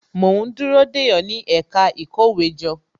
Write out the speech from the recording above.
Mo ń dúró dè ó, ní ẹ̀ka ìkówéjọ